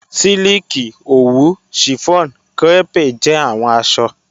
Silikì, owù, chiffon, crêpe jẹ awọn aṣọ